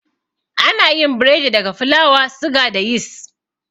Anayin biredi daga fulawa, suga, da yis